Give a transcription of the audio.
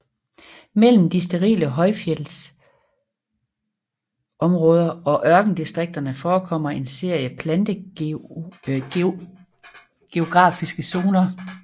Mellem de sterile højfjeldsområder og ørkendistrikterne forekommer en serie plantegeografiske zoner